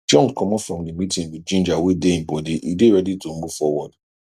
john commot from the meeting with ginger wey dey him body e dey ready to move forward